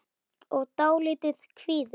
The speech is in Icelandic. og dálítið kvíðin.